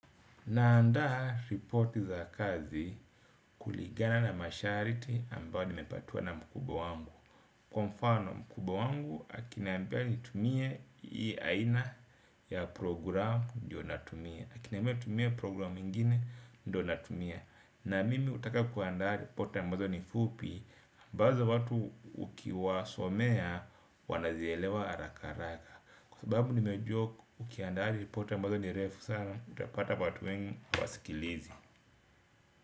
Naandaa riporti za kazi kuligana na masharti ambayo nimepatiwa na mkubwa wangu. Kwa mfano mkubwa wangu, akinambia nitumie hii aina ya programu ndio natumia. Akiniambia nitumie programu ingine, ndio natumia. Na mimi hutaka kuandaa riporti ambazo ni fupi, ambazo watu ukiwasomea, wanazielewa haraka haraka. Kwa sababu nimejua, ukiandaa riporti ambazo ni refu sana, utapata batu wengi hawasikilizi.